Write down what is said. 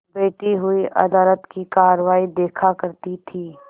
बैठी हुई अदालत की कारवाई देखा करती थी